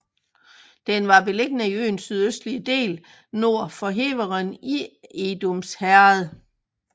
Den var beliggende i øens sydøstlige del nord for Heveren i Edoms Herred